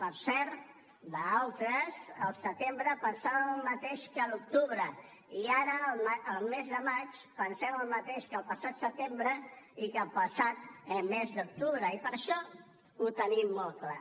per cert altres al setembre pensàvem el mateix que a l’octubre i ara el mes de maig pensem el mateix que el passat setembre i que el passat mes d’octubre i per això ho tenim molt clar